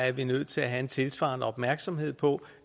er nødt til at have en tilsvarende opmærksomhed på